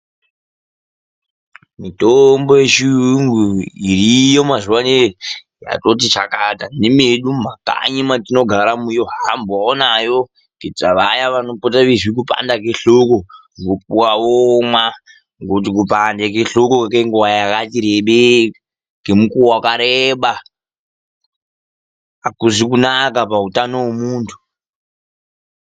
Mitombo yechiyungu iriyo mazuvaaneye ,yatoti chakata nemedu mumakanyi matinogaramo vohambawo nayo kuitira vaya vanozwa kupanda kwehloko .Vopuwa vomwa ngekuti kupande kwehloko kwenguva yakati rebeyi, kemikuwo yakareba akuzi kunaka pautano wemuntu.